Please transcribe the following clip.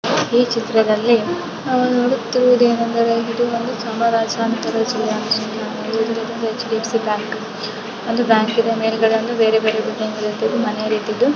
ಈ ಚಿತ್ರದಲ್ಲಿ ನಾವು ನೋಡುತ್ತಿರಿರುವುದು ಏನಂದರೆ ಇದು ಒಂದು H D F C bank ಮತ್ತು ಮೇಲ್ಗಡೆ ಒಂದು ಬ್ಯಾಂಕ್ ಇದೆ ಮನೆ ರೀತಿ ಇದೆ.